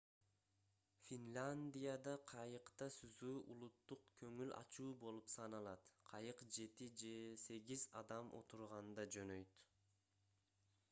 финляндияда кайыкта сүзүү улуттук көңүл ачуу болуп саналат кайык жети же сегиз адам отурганда жөнөйт